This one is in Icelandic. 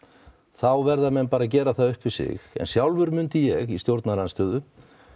þá verða menn bara að gera það upp við sig sjálfur myndi ég í stjórnarandstöðu